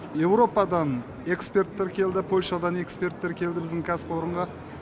еуропадан эксперттер келді польшадан эскперттер келді біздің кәсіпорынға